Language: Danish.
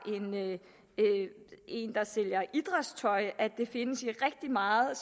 en der sælger idrætstøj at det findes i rigtig meget